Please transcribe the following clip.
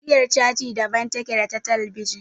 Igiyar caji daban take da ta talabijin.